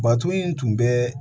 Baton in tun bɛ